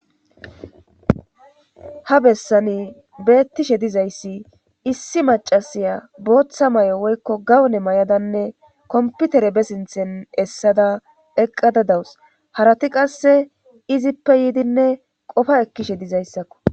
ha bessani beettishe dizayssi issi macasiya booththa may7o woykko gawune may7adanne komputere besinthen essada eqqada dawus harati qasse izippe yiidinne qofa ekkishe dizayssakko